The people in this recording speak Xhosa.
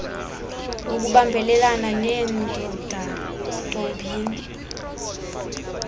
ukubambelana neendoda ntombini